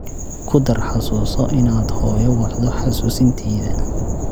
ku dar xasuuso inaad hooyo wacdo xasuusintayda